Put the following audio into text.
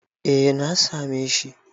Eh, na same shi.